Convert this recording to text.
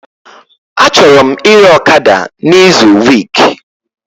Achọrọ m ire ọkada na izu week